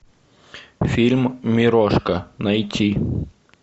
фильм мирошка найти